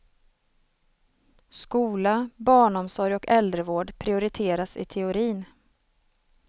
Skola, barnomsorg och äldrevård prioriteras i teorin.